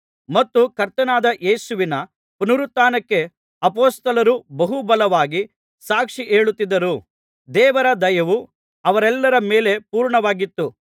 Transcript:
ಮತ್ತು ಕರ್ತನಾದ ಯೇಸುವಿನ ಪುನರುತ್ಥಾನಕ್ಕೆ ಅಪೊಸ್ತಲರು ಬಹು ಬಲವಾಗಿ ಸಾಕ್ಷಿ ಹೇಳುತ್ತಿದ್ದರು ದೇವರ ದಯವು ಅವರೆಲ್ಲರ ಮೇಲೆ ಪೂರ್ಣವಾಗಿತ್ತು